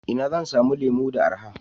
Ina zan samu lemu da araha?